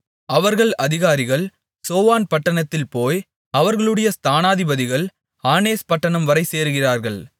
அவர்கள் அதிகாரிகள் சோவான் பட்டணத்தில்போய் அவர்களுடைய ஸ்தானதிபதிகள் ஆனேஸ் பட்டணம் வரை சேருகிறார்கள்